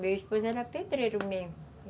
Meu esposo era pedreiro mesmo.